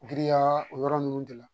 Giriya o yɔrɔ ninnu de la